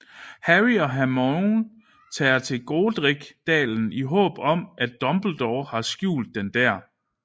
Harry og Hermione tager til Godric Dalen i håb om at Dumbledore har skjult den der